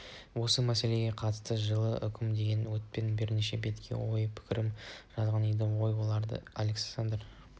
осы мәселеге қатысты мен жылы үкім деген атпен бірнеше бетке ой-пікірімді жазған едім ол ойларым александр